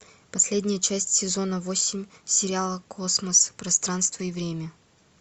последняя часть сезона восемь сериала космос пространство и время